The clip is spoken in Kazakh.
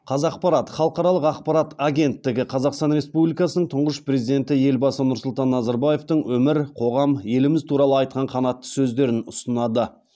қазақпарат халықаралық ақпарат агенттігі қазақстан республикасының тұңғыш президенті елбасы нұрсұлтан назарбаевтың өмір қоғам еліміз туралы айтқан қанатты сөздерін ұсынады